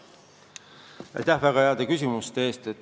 Aitäh väga heade küsimuste eest!